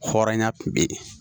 Hɔrɔnya kun bɛ yen